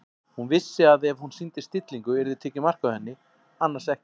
Hún vissi að ef hún sýndi stillingu yrði tekið mark á henni- annars ekki.